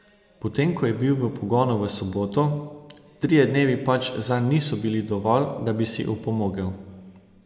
Potem ko je bil v pogonu v soboto, trije dnevi pač zanj niso bili dovolj, da bi si opomogel.